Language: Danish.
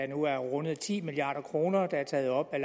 nu har rundet ti milliard kr der er taget op af